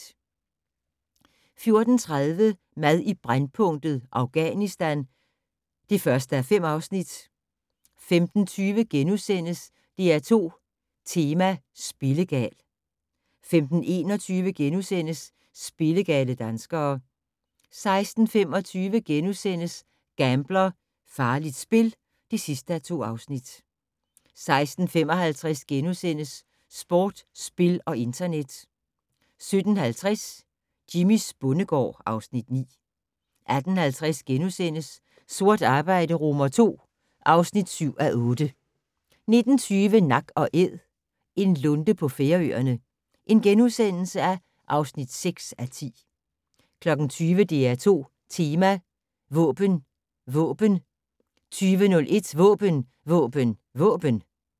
14:30: Mad i brændpunktet: Afghanistan (1:5) 15:20: DR2 Tema: Spillegal * 15:21: Spillegale danskere * 16:25: Gambler: Farligt spil (2:2)* 16:55: Sport, spil og internet * 17:50: Jimmys bondegård (Afs. 9) 18:50: Sort arbejde II (7:8)* 19:20: Nak & Æd - en lunde på Færøerne (6:10)* 20:00: DR2 Tema: Våben Våben 20:01: Våben Våben Våben!